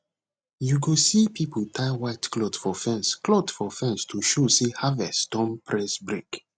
you go see people tie white cloth for fence cloth for fence to show say harvest don press brake